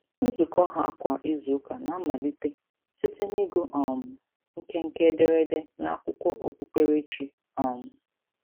Nzukọ ha kwa izuụka na-amalite site n'ịgụ um nkenke ederede n'akwụkwọ okpukperechi. um